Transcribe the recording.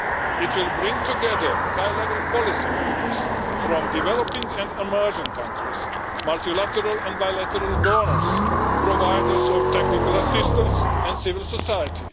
It will bring together high level policymakers from developing and emerging countries, multilateral and bilateral donors, providers of technical assistance and civil society.